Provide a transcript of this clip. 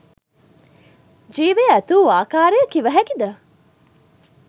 ජීවය ඇතිවූ ආකාරය කිව හැකිද?